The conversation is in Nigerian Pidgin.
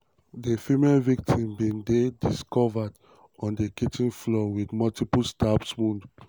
"di female victim bin dey discovered um on di kitchen floor with multiple stab wounds.